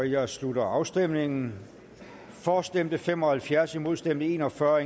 jeg slutter afstemningen for stemte fem og halvfjerds imod stemte en og fyrre